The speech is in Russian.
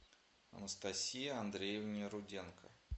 анастасии андреевне руденко